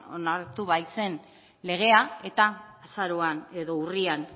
onartu baitzen legea eta azaroan edo urrian